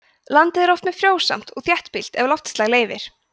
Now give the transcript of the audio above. landið er oft mjög frjósamt og þéttbýlt ef loftslag leyfir